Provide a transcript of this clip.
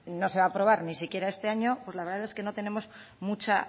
no se va a aprobar ni siquiera este año pues la verdad es que no tenemos mucha